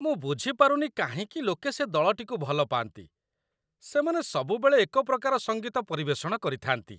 ମୁଁ ବୁଝିପାରୁନି କାହିଁକି ଲୋକେ ସେ ଦଳଟିକୁ ଭଲ ପାଆନ୍ତି। ସେମାନେ ସବୁବେଳେ ଏକପ୍ରକାର ସଙ୍ଗୀତ ପରିବେଷଣ କରିଥାନ୍ତି।